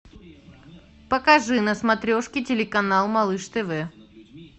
покажи на смотрешке телеканал малыш тв